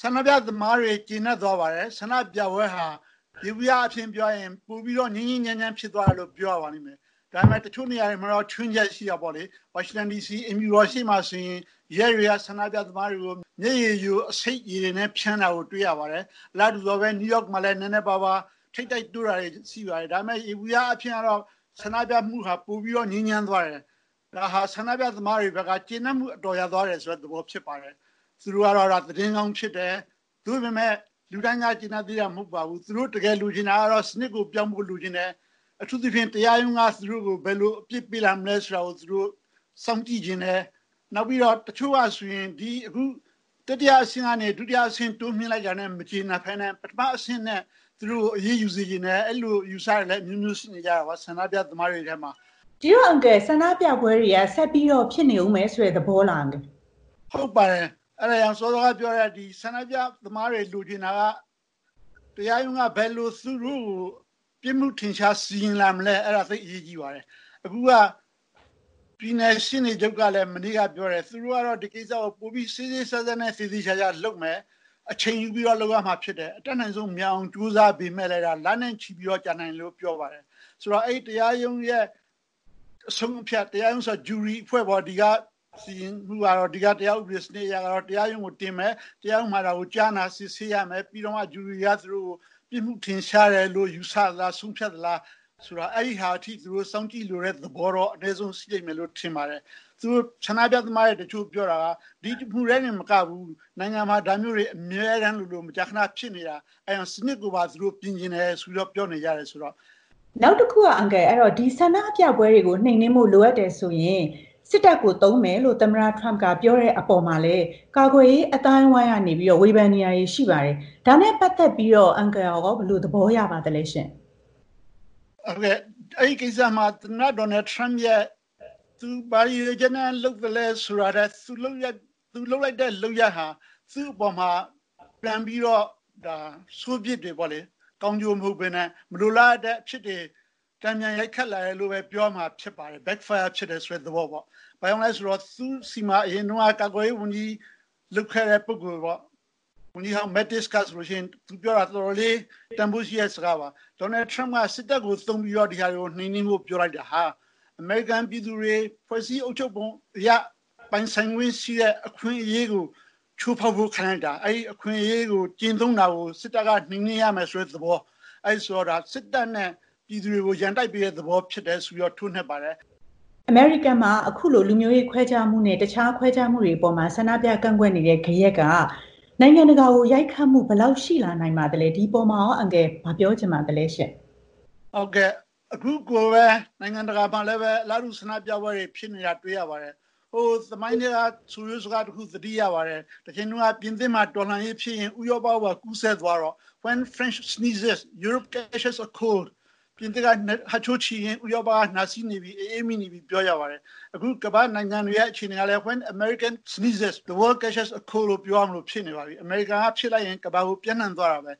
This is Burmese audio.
ဆန္ဒပြသမားတွေ ကျေနပ်သွားပါတယ်။ ဆန္ဒပြပွဲဟာ ယေဘုယျအားဖြင့် ပြောရရင် ပိုပြီးတော့ ငြိမ်းငြိမ်းချမ်းချမ်း ဖြစ်သွားတယ်လို့ ပြောရပါလိမ့်မယ်။ ဒါပေမဲ့ တချို့နေရာတွေမှာတော့ ခြွင်းချက်ရှိတာပေါ့လေ။ နယူးယောက်မှာ နည်းနည်းပါးပါး ထိပ်တိုက်တိုးတာတွေ ရှိပါတယ်။ ဒါပေမဲ့ ယေဘုယျအားဖြင့်တော့ ဆန္ဒပြမှုဟာ ပိုပြီးတော့ ငြိမ်းချမ်းသွားတယ်။ ဒါဟာ ဆန္ဒပြသမားတွေအတွက်က ကျေနပ်မှုအတော်ရသွားတယ်ဆိုတဲ့ သဘောဖြစ်ပါတယ်။ သူတို့ကတော့ သတင်းကောင်းဖြစ်တယ်။ သို့ပေမယ့် လူတိုင်းက ကျေနပ်သေးတာ မဟုတ်ပါဘူး။ သူတို့တကယ်လိုချင်တာကတော့ စနစ်ကို ပြောင်းဖို့ လိုချင်တယ်။ အထူးသဖြင့် တရားရုံးက သူတို့ကို ဘယ်လို အပြစ်ပေးလာမလဲဆိုတာကို သူတို့ စောင့်ကြည့်ချင်တယ်။ နောက်ပြီးတော့ တချို့ကဆိုရင် ဒီအခု တတိယအဆင့်ကနေ ဒုတိယအဆင့် တိုးမြှင့်လိုက်တာနဲ့ မကျေနပ်ဘဲနဲ့ ပထမအဆင့်နဲ့ သူတို့ကို အရေးယူစေချင်တယ်။ အဲ့လို အယူအဆတွေလည်း အမျိုးမျိုးရှိနေကြတာပေါ့ ဆန္ဒပြသမားတွေထဲမှာ။ ဆန္ဒပြပွဲတွေက ဆက်ပြီးတော့ ဖြစ်နေအုံးမယ်ဆိုတဲ့ သဘောလား အန်ကယ်။ ဟုတ်ပါတယ်။ အဲ့ဒါကြောင့် စောစောကပြောတဲ့ ဆန္ဒပြသမားတွေ လိုချင်တာက တရားရုံးက ဘယ်လိုသူတို့ကို ပြစ်မှုထင်ရှား စီရင်လာမလဲ။ အဲဒါ သိပ်အရေးကြီးပါတယ်။ အခုက ပြည်နယ်ရှေ့နေချုပ်ကလည်း မနေ့က ပြောတယ်၊ သူတို့ကတော့ ဒီကိစ္စကို ပိုပြီး စေ့စေ့စပ်စပ်နဲ့ သေသေချာချာလုပ်မယ်၊ အချိန်ယူပြီးတော့ လုပ်ရမှာ ဖြစ်တယ်။ အတတ်နိုင်ဆုံး မြန်အောင် ကြိုးစားပေမဲ့လည်း လနဲ့ ချီပြီး ကြာနိုင်တယ်လို့ ပြောပါတယ်။ ဆိုတော့ အဲဒီ တရားရုံးရဲ့ အဆုံးအဖြတ် တရားရုံး ဆိုတာ ဂျူရီအဖွဲ့ပေါ့၊ ဒီကတရားဥပဒေ စနစ်အရတော့ တရားရုံးကို တင်မယ်၊ တရားရုံးမှာ ကြားနာ စစ်ဆေးရမယ်။ ပြီးတော့မှ ဂျူရီက သူတို့ကို ပြစ်မှုထင်ရှားတယ်လို့ ယူဆသလားဆိုတာ ဆုံးဖြတ်သလား။ အဲ့ဒါထိ သူတို့စောင့်ကြည့်လိုတဲ့သဘောတော့ အနည်းဆုံး ရှိလိမ့်မယ်လို့ ထင်ပါတယ်။ ဆန္ဒပြသမားတွေ တချို့ပြောတာက ဒီတစ်မှုထဲတင်မကဘူး၊ နိုင်ငံမှာ ဒါမျိုးတွေ အမြဲတမ်းလိုလို မကြာခဏဖြစ်နေတာ။ အဲ့ဒါကြောင့် စနစ်ကိုပါ သူတို့ ပြင်ချင်တယ်ဆိုပြီးတော့ ပြောနေကြတယ်။ နောက်တခုက အန်ကယ်။ ဒီဆန္ဒပြပွဲတွေ နှိမ်နင်းဖို့ လိုအပ်ရင် စစ်တပ်ကိုသုံးမယ်လို့ သမ္မတထရမ့်က ပြောတဲ့အပေါ် ကာကွယ်ရေး အသိုင်းအဝိုင်းက ဝေဖန်နေကြတာတွေလည်း ရှိပါတယ်။ အဲဒါနဲ့ ပတ်သက်လို့ရော အန်ကယ်ဘယ်လို သဘောရပါသလဲရှင့်။ အဲဒီကိစ္စမှာ သမ္မတ Donald Trump ဘာရည်ရွယ်ချက်နဲ့ လုပ်သလဲဆိုတာထက် သူလုပ်လိုက်တဲ့ လုပ်ရပ်ဟာ သူ့အပေါ်မှာ ပြန်ပြီးတော့ ဒါ ဆိုးပြစ်တွေပေါ့လေ၊ ကောင်းကျိုးမဟုတ်ဘဲနဲ့ မလိုလားအပ်တဲ့အဖြစ်တွေ တန်ပြန်ရိုက်ခတ်လာနိုင်တယ်လို့ပဲ ပြောရမှာဖြစ်ပါတယ်။ ဘာကြောင့်လည်းဆိုတော့ သူ့ဆီမှာ အရင်တုန်းက ကာကွယ်ရေးဝန်ကြီး လုပ်ခဲ့တဲ့ ပုဂ္ဂိုလ်ပေါ့ ဝန်ကြီးဟောင်း Mattis ဟာဆိုလို့ရှိရင် သူပြောတာ တော်တော်လေး တန်ဖိုးရှိတဲ့ စကားပါ။ Donald Trump က စစ်တပ်ကို သုံးပြီးတော့ ဒီဟာတွေကို နှိမ်နင်းဖို့ ပြောလိုက်တာဟာ အမေရိကန်ပြည်သူတွေ ဖွဲ့စည်းအုပ်ချုပ်ပုံအရ ပိုင်ဆိုင်ခွင့်ရှိတဲ့ အခွင့်အရေးကို ချိုးဖောက်ခံလိုက်ရတာ။ အဲဒီ အခွင့်အရေး ကျင့်သုံးတာကို စစ်တပ်က နှိမ်နင်းရမယ်ဆိုတဲ့ သဘော၊ အဲလိုဆိုတော့ ဒါ စစ်တပ်နဲ့ ပြည်သူတွေကို ရန်တိုက်ပေးတဲ့သဘော ဖြစ်တယ်ဆိုပြီးတော့ ထိုးနှက်ပါတယ်။ အမေရိကန်မှာ အခုလို လူမျိုးရေးခွဲခြားမှုနဲ့ တခြားခွဲခြားမှုတွေ အပေါ် ဆန္ဒပြကန့်ကွက်နေကြတဲ့ ဂယက်က နိုင်ငံတကာကို ဘယ်လောက် ရိုက်ခတ်မှု ရှိလာနိုင်ပါသလဲ။ ဒီအပေါ်မှာရော အန်ကယ် ဘာပြောချင်ပါသလဲရှင့်။ ဟုတ်ကဲ့။ အခုကိုပဲ နိုင်ငံတကာမှာလည်းပဲ အလားတူ ဆန္ဒပြပွဲတွေ ဖြစ်နေတာ တွေ့ရပါတယ်။ ဟိုသမိုင်းထဲက ဆိုရိုးစကားတခု သတိရပါတယ်။ တချိန်တုန်းက ပြင်သစ်မှာ တော်လှန်ရေးဖြစ်ရင် ဥရောပကိုပါ ကူးစက်သွားတော့ When France sneezes, European catches a cold. ပြင်သစ်က ဟတ်ချိုးချေရင် ဥရောပက နှာစေးနေပြီ၊ အအေးမိနေပြီ ပြောကြပါတယ်။ အခု ကမ္ဘာ့နိုင်ငံတွေရဲ့ အခြေအနေကလည်း When American sneezes, the World catches a cold. ပြောရလို ဖြစ်နေပါပြီ။ အမေရိကန်က ဖြစ်လိုက်ရင် ကမ္ဘာကို ပျံ့နှံ့သွားတာပဲ